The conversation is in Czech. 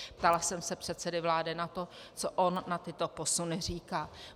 Ptala jsem se předsedy vlády na to, co on na tyto posuny říká.